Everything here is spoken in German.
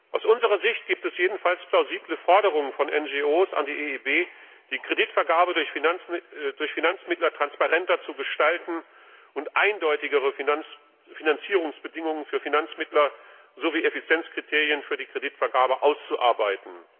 Aus unserer Sicht gibt es jedenfalls plausible Forderungen von NGO an die EIB, die Kreditvergabe durch Finanzmittler transparenter zu gestalten und eindeutigere Finanzierungsbedingungen für Finanzmittler sowie Effizienzkriterien für die Kreditvergabe auszuarbeiten.